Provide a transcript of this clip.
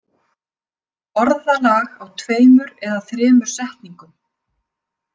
Orðalag á tveimur eða þremur setningum.